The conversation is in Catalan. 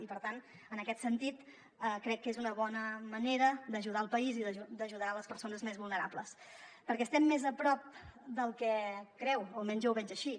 i per tant en aquest sentit crec que és una bona manera d’ajudar el país i d’ajudar les persones més vulnerables perquè estem més a prop del que creu o almenys jo ho veig així